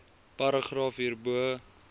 paragraaf hierbo